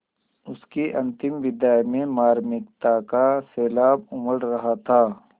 उसकी अंतिम विदाई में मार्मिकता का सैलाब उमड़ रहा था